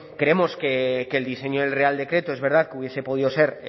creemos que el diseño del real decreto es verdad que hubiese podido ser